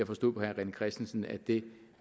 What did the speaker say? forstod på herre rené christensen at det